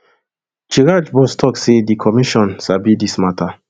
chraj boss tok say di commission sabi dis mata